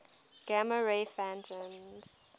gamma ray photons